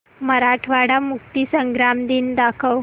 मराठवाडा मुक्तीसंग्राम दिन दाखव